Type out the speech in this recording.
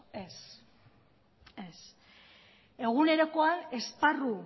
ez ez egunerokoa esparru